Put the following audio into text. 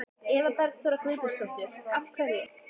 Eva Bergþóra Guðbergsdóttir: Af hverju?